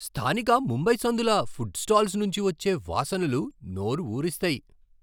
స్థానిక ముంబై సందుల food stalls నుంచి వచ్చే వాసనలు నోరు ఊరిస్తాయి!